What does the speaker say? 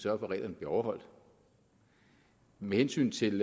at reglerne bliver overholdt med hensyn til